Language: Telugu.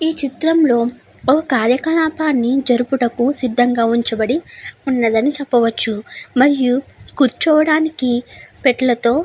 ఈ చిత్రంలో ఓ కార్యకలాపాన్ని జరుపుటకు సిద్ధంగా ఉంచబడి ఉన్నాడని చెప్పవచ్చు. మరియు కూర్చోవడానికి పెట్లతో --